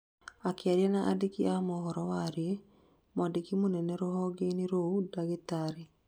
akĩaria na andĩki a mohoro waĩrĩ, mwandĩki mũnene rũhonge-inĩ rũu ndagĩtarĩ